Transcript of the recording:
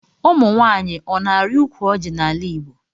Ụmụnwanyi ọna ari ukwu ọji na ala igbo.